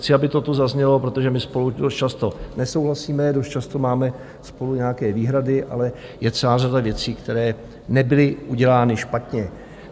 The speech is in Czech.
Chci, aby to tu zaznělo, protože my spolu dost často nesouhlasíme, dost často máme spolu nějaké výhrady, ale je celá řada věcí, které nebyly udělány špatně.